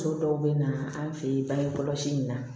Muso dɔw bɛ na an fɛ yen bange kɔlɔsi in na